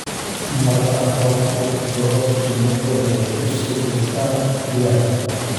Marka roobku da'o, shinnidu waxay ku sii jirtaa gudaha.